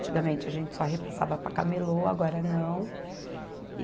Antigamente a gente só repassava para camelô, agora não.